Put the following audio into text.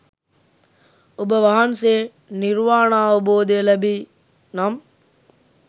ඔබ වහන්සේ නිර්වාණාවබෝධය ලැබී නම්